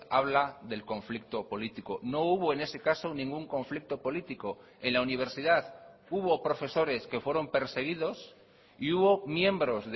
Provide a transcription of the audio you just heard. habla del conflicto político no hubo en ese caso ningún conflicto político en la universidad hubo profesores que fueron perseguidos y hubo miembros